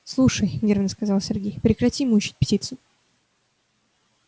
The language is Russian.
слушай нервно сказал сергей прекрати мучить птицу